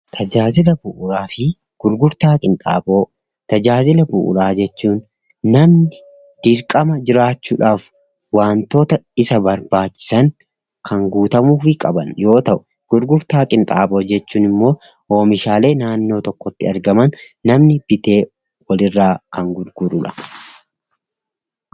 Tajaajila bu'uuraafi gurgurtaa, qinxaaboo tajaajila bu'uuraa jechuun namni dirqama jiraachuudhaaf wantoota isa barbaachisan kan guutamuufi qaban yoo ta'u, gurgurtaa qinxaaboo jechuun ammoo oomishalee naannoo tokkotti argaman namni bitee walirraa kan gurgurudha.